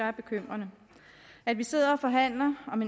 er bekymrende at vi sidder og forhandler om